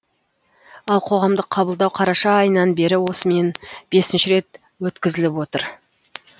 ал қоғамдық қабылдау қараша айынан бері осымен бесінші рет өткізіліп отыр